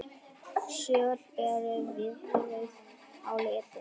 Söl eru vínrauð á litinn.